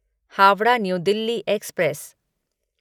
Howrah new Delhi express